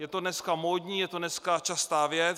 Je to dneska módní, je to dneska častá věc.